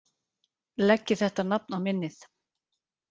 Leggið þetta nafn á minnið